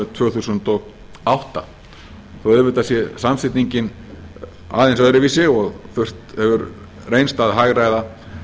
tvö þúsund og átta þó að auðvitað sé samsetningin aðeins öðruvísi og þurft hefur reynst að hagræða